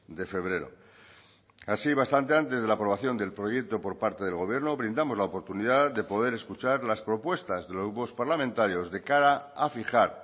de febrero así bastante antes de la aprobación del proyecto por parte del gobierno brindamos la oportunidad de poder escuchar las propuestas de los grupos parlamentarios de cara a fijar